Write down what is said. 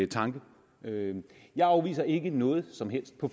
tanke jeg afviser ikke noget som helst på